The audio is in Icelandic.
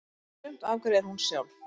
Sumt afgreiðir hún sjálf.